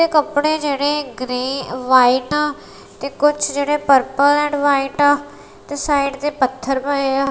ਇਹ ਕੱਪੜੇ ਜਿਹੜੇ ਗ੍ਰੇਯ ਵਾਈਟ ਤੇ ਕੁਛ ਜਿਹੜੇ ਪਰਪਲ ਐਡ ਵਾਈਟ ਆ ਤੇ ਸਾਈਡ ਤੇ ਪੱਥਰ ਪਏ ਆ।